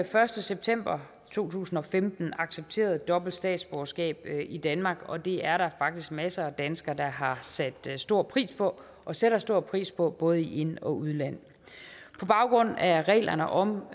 første september to tusind og femten accepteret dobbelt statsborgerskab i danmark og det er der faktisk masser af danskere der har sat stor pris på og sætter stor pris på både i ind og udland på baggrund af reglerne om